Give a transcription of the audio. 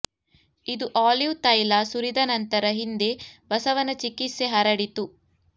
ಇದು ಆಲಿವ್ ತೈಲ ಸುರಿದ ನಂತರ ಹಿಂದೆ ಬಸವನ ಚಿಕಿತ್ಸೆ ಹರಡಿತು